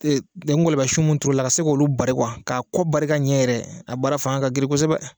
Ee ngɔlɔbɛ sun minnu turu la ka se k'olu bari k'a koko bari ka ɲɛ yɛrɛ ,a baara fanga ka girin kosɛbɛ.